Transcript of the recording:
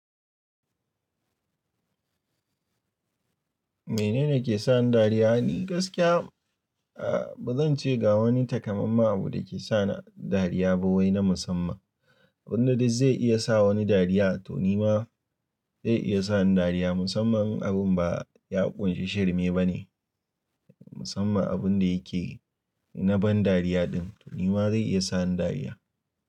Mene ne ke sa ni dariya? Ni gaskiya, ehm, ba zan ce ga wani takamaiman abu da ke sa ni dariya ba wai na musamman. Abin da dai zai iya sa wani dariya, to ni ma zai iya sa ni dariya. Musamman abin ba ya ƙunshi shirme ba ne. Musamman abin da yake na ban dariya din. To ni ma zai iya sa ni dariya.